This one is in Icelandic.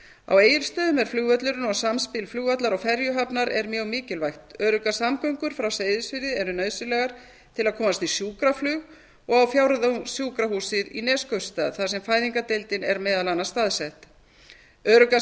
á egilsstöðum er flugvöllurinn og samspil flugvallar og ferjuhafnar er mjög mikilvægt öruggar samgöngur frá seyðisfirði eru nauðsynlegar til að komast í sjúkraflug og á fjórðungssjúkrahúsið í neskaupstað þar sem fæðingardeildin er meðal annars staðsett öruggar samgöngur